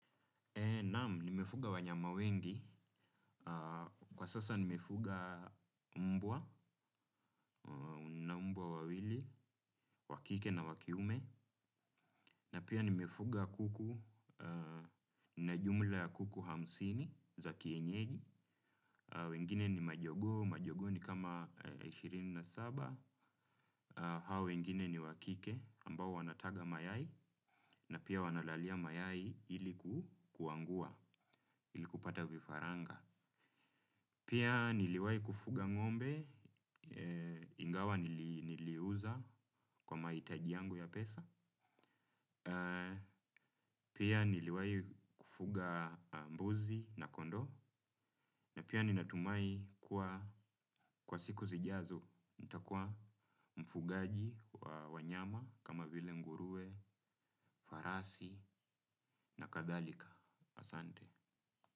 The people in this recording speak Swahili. Naam nimefuga wanyama wengi, kwa sasa nimefuga mbwa, na mbwa wawili, wakike na wakiume, na pia nimefuga kuku na jumla ya kuku hamsini za kienyeji, wengine ni majogo, majogo ni kama ishirini na saba, hao wengine ni wakike ambao wanataga mayai, na pia wanalalia mayai iliku kuangua, iliku pata vifaranga. Pia niliwai kufuga ng'ombe ingawa niliuza kwa mahitaji yangu ya pesa. Pia niliwai kufuga mbuzi na kondo na pia ninatumai kwa siku zijazo nitakua mfugaji wa wanyama kama vile nguruwe, farasi na kadhalika. Asante.